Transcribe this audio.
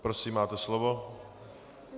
Prosím, máte slovo.